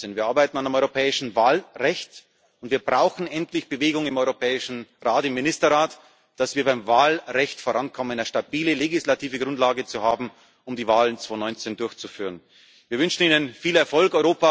Wir arbeiten an einem europäischen Wahlrecht, und wir brauchen endlich Bewegung im Europäischen Rat, im Ministerrat, damit wir beim Wahlrecht vorankommen, und eine stabile legislative Grundlage haben, um die Wahlen 2019 durchzuführen. Wir wünschen Ihnen viel Erfolg!